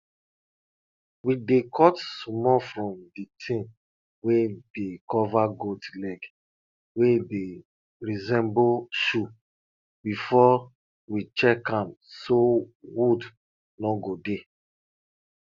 we dey cut small from di thing wey dey cover goat leg wey dey resemble shoe before we check am so wound no go dey